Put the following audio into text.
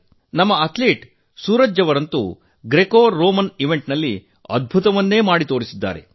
ನಮ್ಮ ಅಥ್ಲೀಟ್ ಸೂರಜ್ ಅವರಂತೂ ಗ್ರೀಕೋರೋಮನ್ ಸ್ಪರ್ಧೆಯಲ್ಲಿ ಪವಾಡವನ್ನು ಮಾಡಿ ತೋರಿಸಿದ್ದಾರೆ